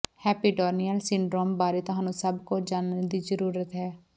hepatorenal syndrome ਬਾਰੇ ਤੁਹਾਨੂੰ ਸਭ ਕੁਝ ਜਾਣਨ ਦੀ ਜ਼ਰੂਰਤ ਹੈ